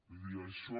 vull dir això